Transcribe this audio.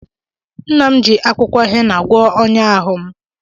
Nna m ji akwụkwọ hena gwọọ ọnya ahụ m